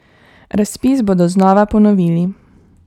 Razpis bodo znova ponovili.